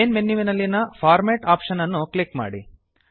main ಮೆನುವಿನಲ್ಲಿನ format option ಅನ್ನು click ಮಾಡಿ